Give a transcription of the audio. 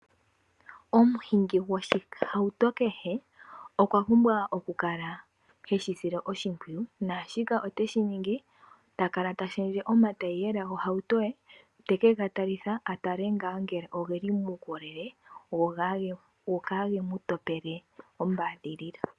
Omuhingi go shihauto kehe okwa pumbwa okukala heshi sile oshimpwiyu, naa shika ote shiningi takala tashendje omataiyela gohauto ye teke gatalitha atale ngaa ngele ogeli muukolele go kaa ge mutopele ombadhilila.